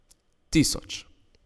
Tisoč.